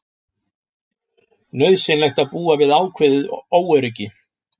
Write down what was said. Nauðsynlegt að búa við ákveðið óöryggi